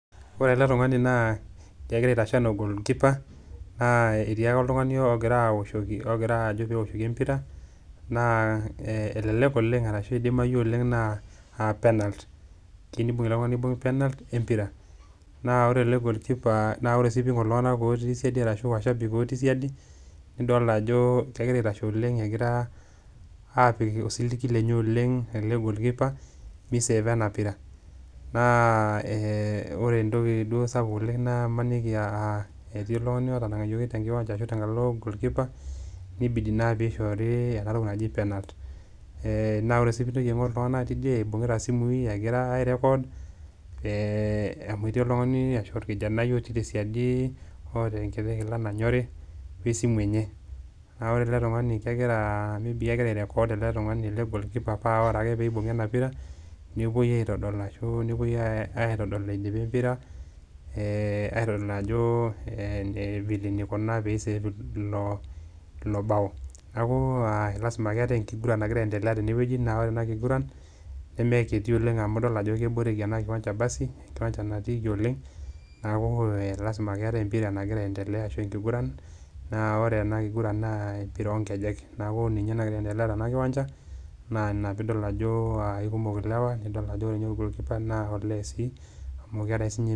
Ore ele tung'ani naa kegira aitashe naa orgoalkeeper naa etii ake oltung'ani ogira awoshoki ogira ajo pee ewoshoki empira, naa e elelek oleng' arashu idimayu oleng' naa a penalt tenibung'ita ele tung'ani niibung' penalt e mpira. Naa ore ele goalkeeper naa ore sii piing'or iltung'anak otii siadi ashu washabik otii siadi nidol ajo kegira aitashe oleng', egira aapik osiligi lenye oleng' ele goalkeeper misaver ena pira. Naa ee ore entoki duo sapuk oleng' naa imaniki aa eti oltung'ani otanang'ayioki te nkiwanja ashu tenkalo goal keeper nibidi naa piishoori ena toki naji penalt. Ee naa ore sii piintoki aing'or iltung'anak tidie, ibung'ita simui egira airecord ee amu eti oltung'ani ashu orkijanai otii te siadi oota enkiti kila nanyori we esimu enye naa ore ele tung'ani kegiraa maybe kegira airecord ele tung'ani ele goalkeeper paa ore ake piibung'a ena pira nepuoi aitodol ashu nepuoi ai aitodol idipa empira, ee aitodol ajo ee vile nikuna piisave ilo ilo bao. Neeku aa lazima ake eeta enkiguran nagira aiendelea tene wueji naa ore ena kiguran nemekiti oleng' amu idol ajo keboreki ena kiwancha basi enkiwancha natiiki oleng', neeku ee lazima ake eetai empira nagira aiendelea ashu enkiguran naa ore ena kiguran naa empira oo nkejek. Neeku ninye nagira aiendelea tena kiwanja naa ina piidol ako aa aikumok ilewa nidol ajo ore nye orgoalkeeper naa ole sii amu kegira siinye....